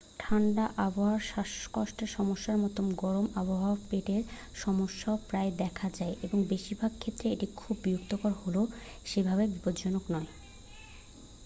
ঠান্ডা আবহাওয়ার শ্বাসকষ্টের সমস্যার মতো গরম আবহাওয়ায় পেটের সমস্যাও প্রায়ই দেখা যায় এবং বেশিরভাগ ক্ষেত্রে এটি খুব বিরক্তিকর হলেও সেভাবে বিপজ্জনক নয়